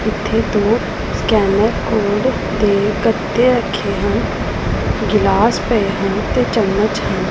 ਇਥੇ ਦੋ scanner code ਦੇ ਗੱਤੇ ਰੱਖੇ ਹਨ ਗਿਲਾਸ ਪਏ ਹਨ ਤੇ ਚਮਚ ਵੀ--